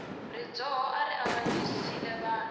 rizondho ari avanyisile vanhu